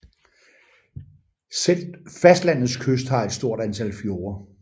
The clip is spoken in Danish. Selve fastlandets kyst har et stort antal fjorde